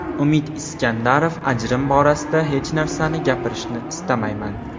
Umid Iskandarov: Ajrim borasida hech narsani gapirishni istamayman.